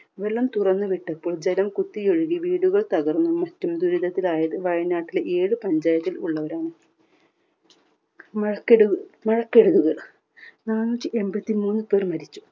വെള്ളം തുറന്ന് വിട്ടപ്പോൾ ജലം കുത്തിയൊഴുകി വീടുകൾ തകർന്ന് മറ്റൊരു ദുരിതത്തിലായത് വയനാട്ടിലെ ഏഴ് പഞ്ചായത്തിൽ ഉള്ളവരാണ്. മഴക്കെടു മഴക്കെടുതിയിൽ നാനൂറ്റി എണ്പത്തിമൂന്ന് പേർ മരിച്ചു.